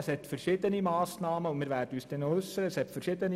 Es gibt verschiedene Massnahmen, zu denen wir uns noch äussern werden.